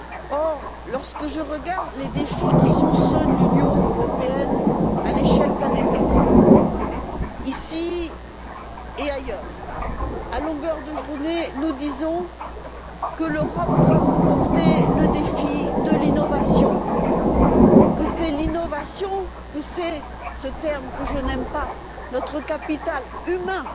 Or, lorsque je regarde les défis qui sont ceux de l'Union européenne, à l'échelle planétaire, ici et ailleurs, à longueur de journée, nous disons que l'Europe doit remporter le défi de l'innovation, que c'est l'innovation, que c'est un terme que je n'aime pas notre capital humain